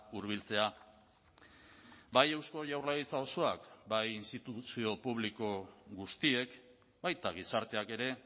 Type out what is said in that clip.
hurbiltzea bai eusko jaurlaritza osoak bai instituzio publiko guztiek baita gizarteak ere